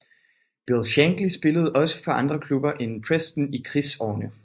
Bill Shankly spillede også for andre klubber end Preston i krigsårene